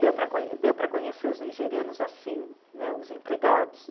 Deu para. deu para conhecer os nigerianos assim né, os empregados.